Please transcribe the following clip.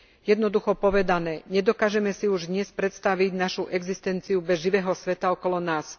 Jednoducho povedané, nedokážeme si už dnes predstaviť našu existenciu bez živého sveta okolo nás.